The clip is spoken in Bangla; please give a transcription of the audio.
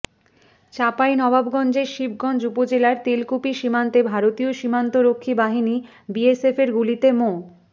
চাঁপাইনবাবগঞ্জের শিবগঞ্জ উপজেলার তেলকুপি সীমান্তে ভারতীয় সীমান্তরক্ষী বাহিনী বিএসএফের গুলিতে মো